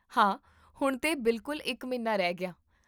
ਹਾਂ, ਹੁਣ ਤੋਂ ਬਿਲਕੁਲ ਇੱਕ ਮਹੀਨਾ ਰਹਿ ਗਿਆ